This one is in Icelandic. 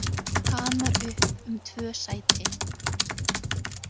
Hamar upp um tvö sæti